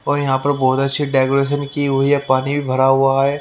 और यहां पर बहोत अच्छी डेकोरेशन की हुई हैं पानी भी भरा हुआ है।